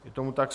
Je tomu tak.